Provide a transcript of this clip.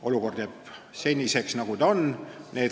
Olukord jääb seniseks, nagu ta on.